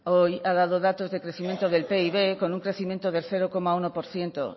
hoy ha dado datos de crecimiento del pib con un crecimiento de cero coma uno por ciento